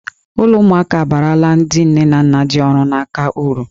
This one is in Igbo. Ụlọ ụmụaka abaarala ndị nne na nna ji ọrụ n'aka uru.